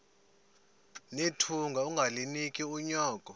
nethunga ungalinik unyoko